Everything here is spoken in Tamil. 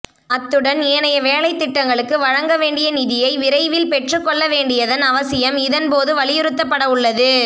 அத்துடன் ஏனைய வேலைத்திட்டங்களுக்கு வழங்க வேண்டிய நிதியை விரைவில் பெற்று கொள்ள வேண்டியதன் அவசியம் இதன் போது வலியுறுத்தப்படவுள்ளது